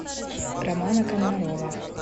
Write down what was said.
романа комарова